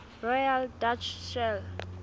royal dutch shell